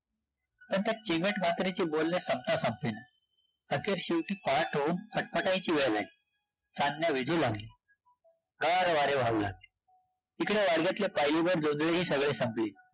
तसचं चिवट म्हातारीचे बोलणे संपता संपेना, अखेर शेवटी पहाट होऊन फट-फटायची वेळ झाली, चांदण्या लागली, गारं वारे वाहू लागले, तिकडे वाडग्यातली पायलीभरं जोंधळीही सगळी संपली